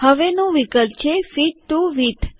હવેનું વિકલ્પ છે fit to width